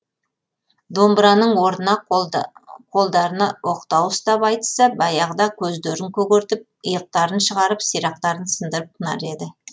домбыраның орнына қолдарына оқтау ұстап айтысса баяғы да көздерін көгертіп иықтарын шығарып сирақтарын сындырып тынар еді